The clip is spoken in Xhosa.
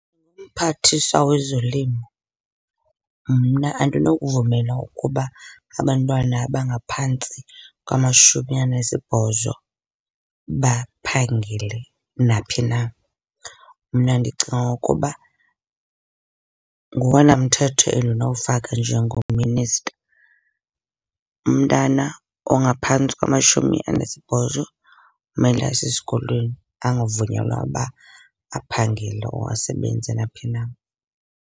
UMphathiswa wezoLimo, mna andinokuvumela ukuba abantwana abangaphantsi kwamashumi anesibhozo baphangele naphi na. Mna ndicinga ukuba ngowona mthetho endinowufaka njengoMinister. Umntana ongaphantsi kwamashumi anesibhozo umele abe sesikolweni angavunyelwa uba aphangele or asebenze naphi na.